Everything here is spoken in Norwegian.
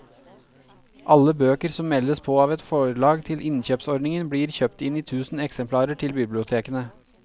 Alle bøker som meldes på av et forlag til innkjøpsordningen blir kjøpt inn i tusen eksemplarer til bibliotekene.